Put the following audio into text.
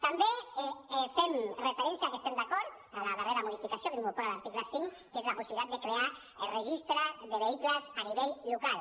també fem referència a que estem d’acord amb la darrera modificació que incorpora l’article cinc que és la possibilitat de crear registre de vehicles a nivell local